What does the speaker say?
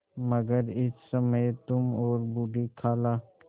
मगर इस समय तुम और बूढ़ी खाला